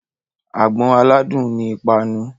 Àgbọn aládùn ni ìpanu.